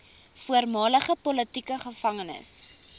voormalige politieke gevangenes